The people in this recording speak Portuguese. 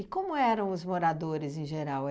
E como eram os moradores, em geral?